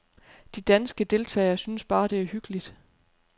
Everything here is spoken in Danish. De danske deltagere synes bare, det er hyggeligt.